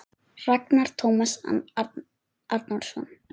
Ragnar Tómas Árnason